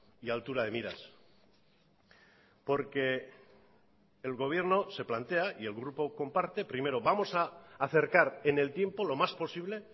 y altura de miras porque el gobierno se plantea y el grupo comparte primero vamos a acercar en el tiempo lo más posible